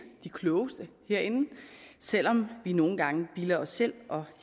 de klogeste herinde selv om vi nogle gange bilder os selv og